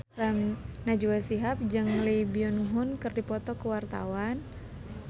Najwa Shihab jeung Lee Byung Hun keur dipoto ku wartawan